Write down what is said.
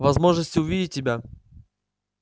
возможности увидеть тебя